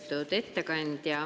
Lugupeetud ettekandja!